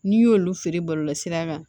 N'i y'olu feere bɔlɔlɔsira kan